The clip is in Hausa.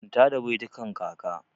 Manta da baitukan kaka!